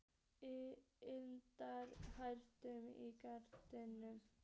Ynda, lækkaðu í græjunum.